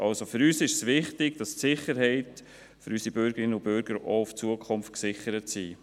Also, für uns ist es wichtig, dass die Sicherheit unserer Bürgerinnen und Bürger auch in Zukunft gewährleistet ist.